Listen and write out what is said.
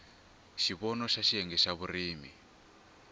xivono xa xiyenge xa vurimi